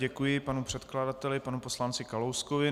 Děkuji panu předkladateli, panu poslanci Kalouskovi.